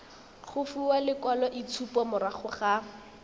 go fiwa lekwaloitshupo morago ga